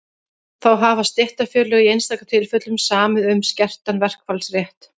þá hafa stéttarfélög í einstaka tilfellum samið um skertan verkfallsrétt